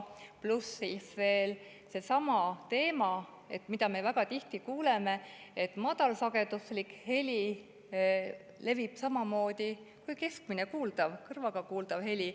Pluss siis veel seesama teema, millest me väga tihti kuuleme, nagu madalsageduslik heli leviks samamoodi kui keskmine, kõrvaga kuuldav heli.